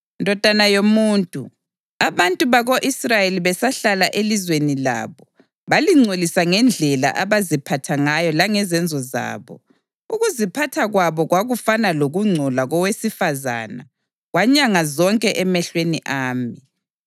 “Ndodana yomuntu, abantu bako-Israyeli besahlala elizweni labo, balingcolisa ngendlela abaziphatha ngayo langezenzo zabo. Ukuziphatha kwabo kwakufana lokungcola kowesifazane kwanyanga zonke emehlweni ami.